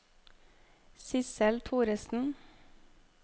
Sidsel Thoresen